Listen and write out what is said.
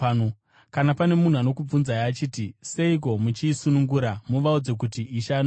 Kana pane munhu anokubvunzai achiti, ‘Seiko muchiisunungura?’ muvaudze kuti, ‘Ishe anoida.’ ”